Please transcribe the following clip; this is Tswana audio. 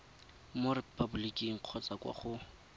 mo repaboliking kgotsa kwa go